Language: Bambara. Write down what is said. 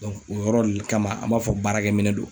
o yɔrɔ de kama ,an b'a fɔ baarakɛminɛn don.